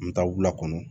N bɛ taa wula kɔnɔ